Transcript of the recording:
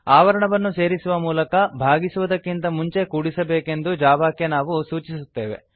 ಆವರಣವನ್ನು ಸೇರುಸುವ ಮೂಲಕ ಭಾಗಿಸುವುದಕ್ಕಿಂತ ಮುಂಚೆ ಕೂಡಿಸಬೇಕೆಂದು ಜಾವಾಕ್ಕೆ ನಾವು ಸೂಚಿಸುತ್ತೇವೆ